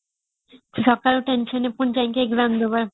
ସକାଳୁ tension ରେ ପୁଣି ଯାଇକି exam ଦବା